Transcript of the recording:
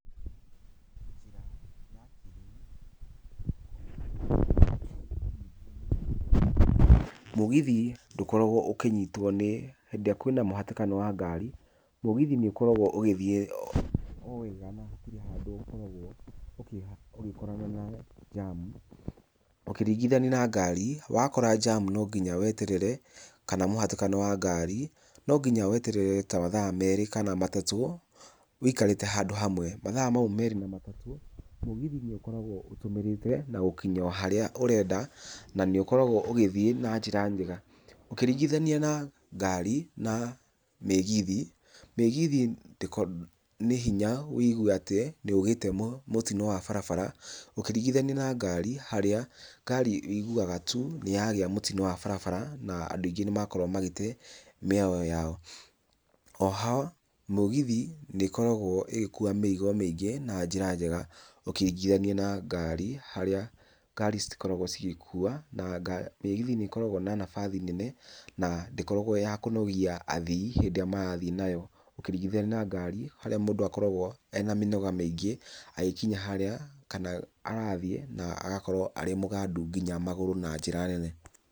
Mũgithi ndũkoragwo ũkĩnyitwo nĩ hĩndĩ ĩrĩa kwĩna mũhatĩkano wa ngarĩ. Mũgithi nĩ ũkoragwo mũgithi o wega na gũtirĩ handũ ũkoragwo ũgĩkorana na njamu. Ukĩringithania na ngari wakora njamu no nginya weterere kana mũhatĩkano wa ngari no nginya weterere ta mathaa merĩ kana matatũ wikarĩte handũ hamwe mathaa mau merĩ kana matatu mũgithi nĩ ũkoragwo ũtũmĩrĩte na gũkinya harĩa ũrenda na nĩ ũkoragwo ũgĩthie na njĩra njega, ũkĩringithania na ngari na mĩgithi, mĩgithi nĩ hinya wigue atĩ nĩ ũgĩte mũtino wa barabara ũkĩringithania na ngari harĩa ngari wiguaga tu nĩ yagĩa mũtino wa bara na andũ aingĩ na makorwo magĩte yao. Oho mũgithi nĩ ĩkoragwo ĩgĩkua mĩrigo mĩingĩ na njĩra njega ũkĩringithanio na ngari harĩa ngari citikoragwo cigĩkua na mĩgithi nĩ ĩkoragwo na nabathi nene na ndĩkoragwo ya kũnogia athii hĩndĩ ĩrĩa marathiĩ nayo, ũkĩringithania na ngari harĩa mũndũ akoragwo ena mĩnoga mĩingĩ agĩkinya harĩa kana arathiĩ na agakotwo e mũgandu nginya magũrũ na njĩra nene.